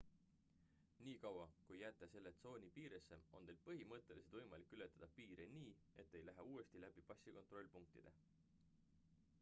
nii kaua kui jääte selle tsooni piiresse on teil põhimõtteliselt võimalik ületada piire nii et te ei lähe uuesti läbi passikontrollpunktide